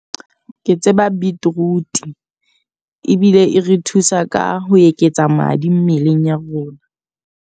Ke tseba beetroot, ebile e re thusa ka ho eketsa madi mmeleng ya rona.